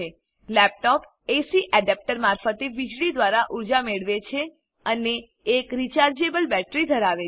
laptop AC adapter મારફતે વીજળી દ્વારા ઉર્જા મેળવે છે અને એક રિચાર્જેબલ બેટરી ધરાવે છે